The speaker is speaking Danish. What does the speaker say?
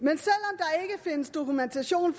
og findes dokumentation